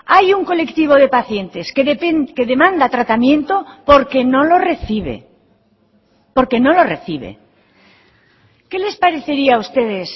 hay un colectivo de pacientes que demanda tratamiento porque no lo recibe porque no lo recibe qué les parecería a ustedes